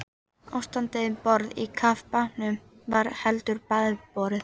Ástandið um borð í kafbátnum var heldur bágborið.